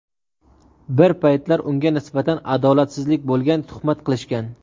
Bir paytlar unga nisbatan adolatsizlik bo‘lgan, tuhmat qilishgan.